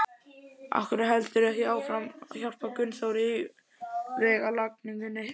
Af hverju heldurðu ekki áfram að hjálpa Gunnþóri í vegalagningunni?